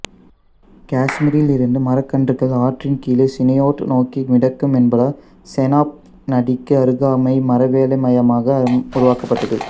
காஷ்மீரில் இருந்து மரக்கன்றுகள் ஆற்றின் கீழே சினியோட் நோக்கி மிதக்கும் என்பதால் செனாப் நதிக்கு அருகாமை மரவேலை மையமாக உருவாக்கப்பட்டது